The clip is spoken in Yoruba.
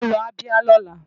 Wàá lọ Abia lọ́la!